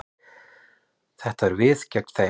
Þetta eru við gegn þeim.